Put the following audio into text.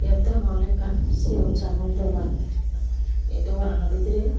yot degongey oley ekkan sigon sagon dogan ei dagonano bidirey.